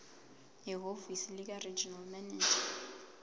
ehhovisi likaregional manager